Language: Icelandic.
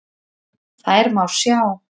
Þær má sjá